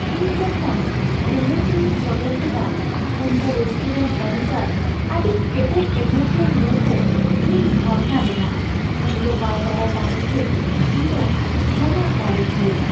ᱤᱧ ᱡᱚᱠᱷᱚᱱ ᱟᱹᱱᱟᱹᱭᱠᱟᱹᱣᱤᱧ ᱥᱚᱫᱚᱨ ᱠᱮᱫᱟ ᱩᱱᱫᱚ ᱨᱮᱥᱴᱩᱨᱮᱱᱴ ᱢᱮᱹᱱᱮᱡᱟᱨᱟᱜ ᱟᱹᱰᱤ ᱠᱮᱴᱮᱡ ᱟᱹᱱᱟᱹᱭᱠᱟᱹᱣ ᱧᱮᱞᱛᱮ ᱤᱧᱤᱧ ᱵᱷᱟᱵᱽᱱᱟ ᱞᱮᱱᱟ ᱾ ᱩᱱᱤᱫᱚ ᱵᱟᱭ ᱵᱟᱰᱟᱭ ᱛᱟᱦᱮᱸ ᱡᱮ ᱤᱧᱫᱚ ᱡᱚᱢᱟᱜ ᱜᱟᱞᱚᱪᱤᱭᱟᱹ ᱾